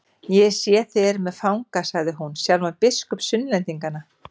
Ég sé þið eruð með fanga, sagði hún, sjálfan biskup Sunnlendinga.